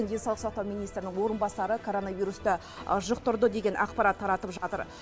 денсаулық сақтау министрінің орынбасары коронавирусты жұқтырды деген ақпарат таратып жатыр